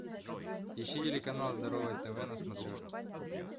ищи телеканал здоровое тв на смотрешке